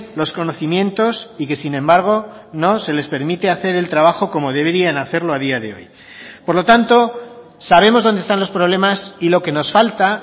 los conocimientos y que sin embargo no se les permite hacer el trabajo como deberían hacerlo a día de hoy por lo tanto sabemos dónde están los problemas y lo que nos falta